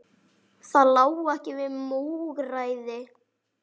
Það lá ekki við múgræði